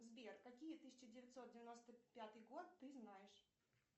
сбер какие тысяча девятьсот девяносто пятый год ты знаешь